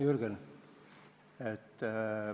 Jürgen!